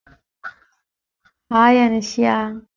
hi Anushya